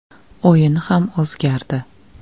O‘yini ham o‘zgardi.